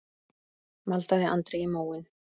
maldaði Andri í móinn.